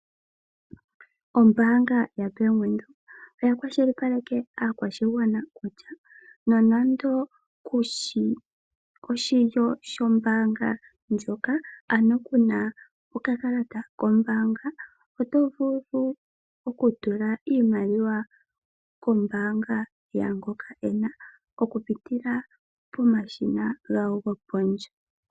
Ombaanga yaBank Windhoek oya kwashilipaleke aakwashigwana kutya nonando kuli oshilyo shombaanga ndjoka, ano kuna okakalata kombaanga oto vulu okutula iimaliwa kombaanga yaangoka ena okupitila pomashina gawo gopondje.